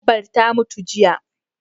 Dabbar ta mutu jiya